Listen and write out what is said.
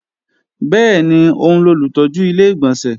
Bẹ́ẹ̀ni, òun lolùtọ́jú Ilé-ìgbọ̀nsẹ̀